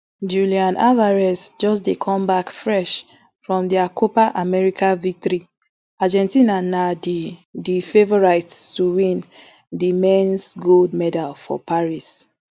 julian alvarez just dey come back fresh from dia copa america victory argentina na di di favourites to win di mens gold medal for paris